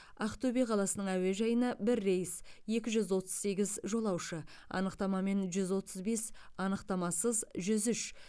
ақтөбе қаласының әуежайына бір рейс екі жүз отыз сегіз жолаушы анықтамамен жүз отыз бес анықтамасыз жүз үш